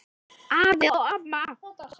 Afi og amma